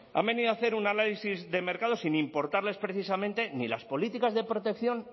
han venido a hacer un análisis de mercado sin importarles precisamente ni las políticas de protección